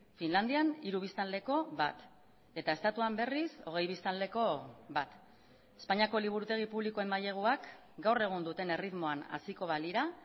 finlandian hiru biztanleko bat eta estatuan berriz hogei biztanleko bat espainiako liburutegi publikoen maileguak gaur egun duten erritmoan haziko balira